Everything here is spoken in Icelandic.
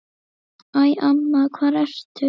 Æ, amma hvar ertu?